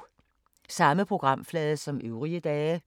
Samme programflade som øvrige dage